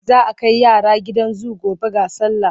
Za a kai yara gidan zu gobe ga sallah.